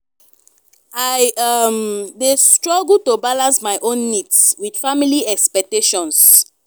i um dey struggle to balance my own needs with family expectations.